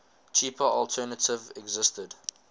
cheaper alternative existed